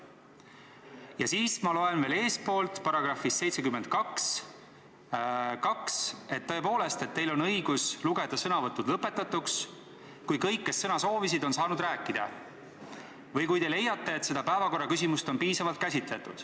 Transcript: Ja siis ma loen eestpoolt, § 72 lõikest 2, et tõepoolest, teil on õigus lugeda sõnavõtud lõpetatuks, kui kõik, kes sõna soovisid, on saanud rääkida või kui te leiate, et seda päevakorraküsimust on piisavalt käsitletud.